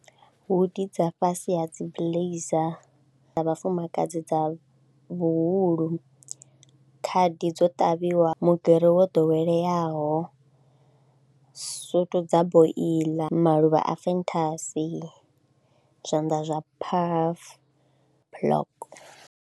Hoodi dza fhasi ha dzi blazer dza vhafumakadzi dza vhuhulu, khadi dzo ṱavhiwa mugero wo ḓoweleaho, sutu dza boiḽa, maluvha a fenthasi, zwanḓa zwa phafu block.